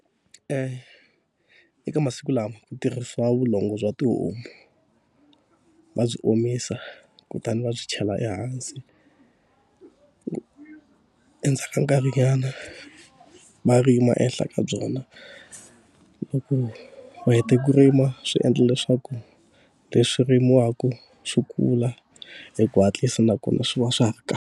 eka masiku lawa ku tirhisiwa vulongo bya tihomu. Va byi omisa kutani va byi chela ehansi, endzhaku ka nkarhinyana va rima ehenhla ka byona. Loko va hete ku rima swi endla leswaku leswi rimiwaka swi kula hi ku hatlisa nakona swi va swa ha ri .